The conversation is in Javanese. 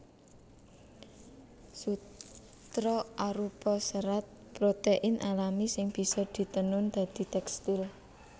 Sutra arupa serat protein alami sing bisa ditenun dadi tèkstil